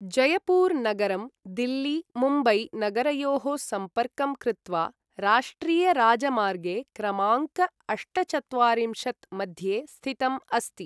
जयपुर नगरं दिल्ली मुम्बई नगरयोः सम्पर्कं कृत्वा राष्ट्रियराजमार्गे क्रमाङ्क अष्टचत्वारिंशत् मध्ये स्थितम् अस्ति ।